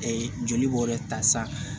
joli bɔn yɛrɛ ta sa